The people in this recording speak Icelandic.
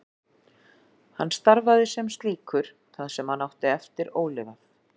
Hann starfaði sem slíkur það sem hann átti eftir ólifað.